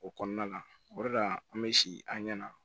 O kɔnɔna la o de la an bɛ si an ɲɛ na